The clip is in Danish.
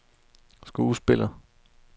skuespiller